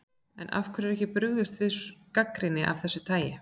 En af hverju er ekki brugðist við gagnrýni af þessu tagi?